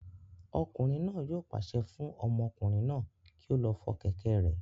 Ọkùnrin náà yóò pàṣẹ fún ọmọkùnrin náà kí ó lọ fọ kẹ̀kẹ́ rẹ̀